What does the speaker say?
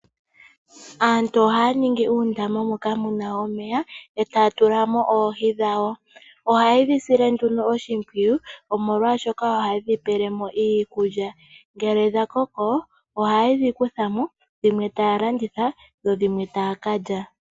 Aantu ohaya ningi uundama moka muna omeya etaya tulamo oohi dhawo. Ohaye dhi sile nduno oshimpwiyu omolwashoka ohaye dhi pele mo iikulya, ngele dha koko ohaye dhi kuthamo dhimwe taalanditha dho dhimwe taakalya.